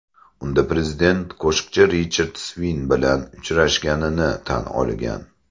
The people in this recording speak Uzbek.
Unda prezident qo‘shiqchi Richard Sving bilan uchrashganini tan olgan.